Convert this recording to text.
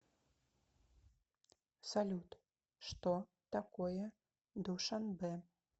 салют что такое душанбе